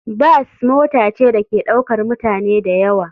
Bas mota ce da ke ɗaukar mutane da yawa.